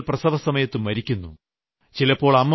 എന്നാൽ ചില സ്ത്രീകൾ പ്രസവസമയത്ത് മരിക്കുന്നു